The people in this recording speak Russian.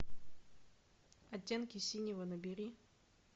оттенки синего набери